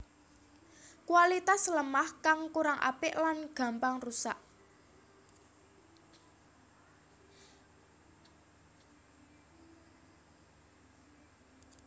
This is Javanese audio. Kualitas lemah kang kurang apik lan gampang rusak